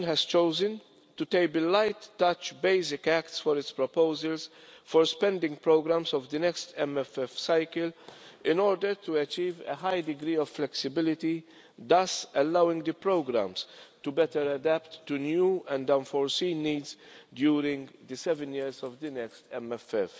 Commission has chosen to table light touch basic acts for its proposals for spending programmes in the next MFF cycle in order to achieve a high degree of flexibility, thus allowing the programmes to adapt better to new and unforeseen needs during the seven years of the next MFF.